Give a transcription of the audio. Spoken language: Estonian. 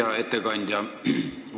Hea ettekandja!